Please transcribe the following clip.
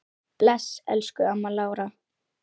Bless, elsku amma Lára.